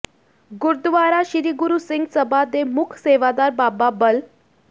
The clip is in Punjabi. ਗੁਰਦੁਆਰਾ ਸ੍ਰੀ ਗੁਰੂ ਸਿੰਘ ਸਭਾ ਦੇ ਮੁੱਖ ਸੇਵਾਦਾਰ ਬਾਬਾ ਬਲ